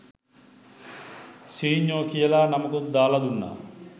සීඤ්ඤො කියල නමකුත් දාල දුන්න